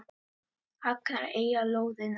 Hagar eiga lóðina.